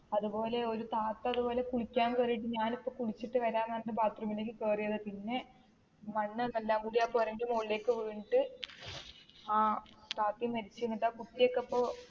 അതുപോലെ ഒരു താത്ത അതുപോലെ കുളിക്കാൻ കേറീട്ട് ഞാൻ ഇപ്പൊ കുളിച്ചിട്ട് വരാം എന്ന് പറഞ്ഞിട്ട് bathroom ലേക്ക് കേറിയതാ പിന്നെ മണ്ണും എല്ലാം കൂടെ ആ പോരെന്റെ മേളിലേക്ക് വീണിട്ട് അഹ് താതേം മരിച്ച് എന്നിട്ട് ആ കുട്ടി ഒക്കെ ഇപ്പൊ